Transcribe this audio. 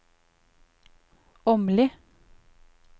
Åmli